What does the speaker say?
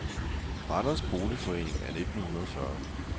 Randers Boligforening af 1940